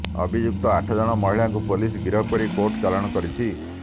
ଅଭିଯୁକ୍ତ ଆଠ ଜଣ ମହିଳାଙ୍କୁ ପୋଲିସ ଗିରଫ କରି କୋର୍ଟ ଚାଲାଣ କରିଛି